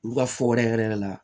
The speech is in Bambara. Olu ka fɔ wɛrɛ yɛrɛ yɛrɛ la